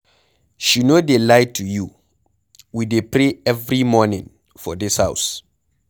She no dey lie to you, we dey pray every morning for dis house.